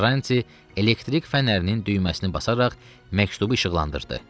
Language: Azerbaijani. Karranti elektrik fənərinin düyməsini basaraq məktubu işıqlandırdı.